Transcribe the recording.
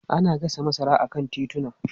Ana gasa masara a kan tituna.